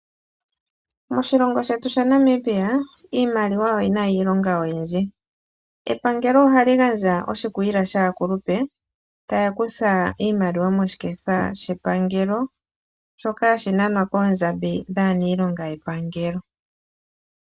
Moshilongo shetu shaNamibia, iimaliwa oyina iilonga oyindji. Epangelo ohali gandja oshikwiila shaakulupe taya kutha iimaliwa moshiketha shepangelo shoka hashi nanwa koondjambi dhaaniilonga yepangelo.